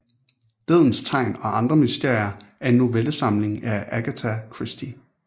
Dødens tegn og andre mysterier er en novellesamling af Agatha Christie